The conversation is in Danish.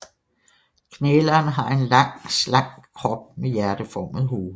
Knæleren har en lang slank krop med hjerteformet hoved